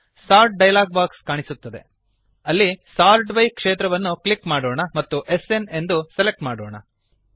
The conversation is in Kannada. ಸೋರ್ಟ್ ಡಯಲಾಗ್ ಬಾಕ್ಸ್ ಕಾಣಿಸುತ್ತದೆಅಲ್ಲಿ ಸೋರ್ಟ್ ಬೈ ಕ್ಷೇತ್ರವನ್ನು ಕ್ಲಿಕ್ ಮಾಡೋಣ ಮತ್ತು ಎಸ್ಎನ್ ಅನ್ನು ಸೆಲೆಕ್ಟ್ ಮಾಡೋಣ